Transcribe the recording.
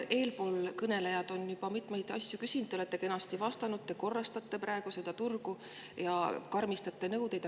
Eelkõnelejad on juba mitmeid asju küsinud, te olete kenasti vastanud, et te korrastate praegu seda turgu ja karmistate nõudeid.